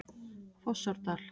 Fossárdal